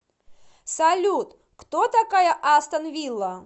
салют кто такая астон вилла